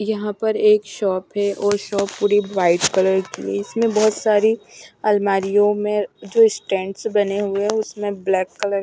यहां पर एक शॉप है और शॉप पूरी व्हाइट कलर की है इसमें बहोत सारी अलमारियों में जो स्टैंड्स बने हुए है उसमें ब्लैक कलर --